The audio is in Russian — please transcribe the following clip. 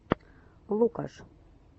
лукаш